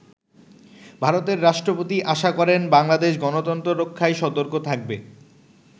ভারতের রাষ্ট্রপতি আশা করেন বাংলাদেশ গনতন্ত্র রক্ষায় সতর্ক থাকবে।